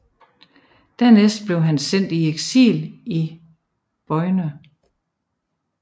Dernæst blev han sendt i eksil i Beaune